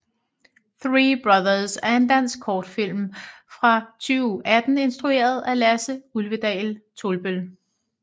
Three brothers er en dansk kortfilm fra 2018 instrueret af Lasse Ulvedal Tolbøll